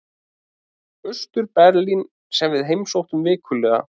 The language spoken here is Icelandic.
Austur-Berlín sem við heimsóttum vikulega.